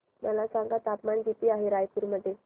मला सांगा तापमान किती आहे रायपूर मध्ये